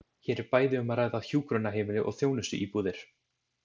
Hér er bæði um að ræða hjúkrunarheimili og þjónustuíbúðir.